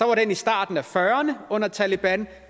var den i starten af fyrrerne under taleban